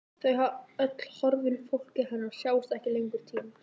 Þau öll horfin, fólkið hennar, sjást ekki lengur, týnd.